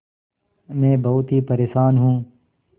मैं बहुत ही परेशान हूँ